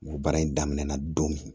Baara in daminɛna don min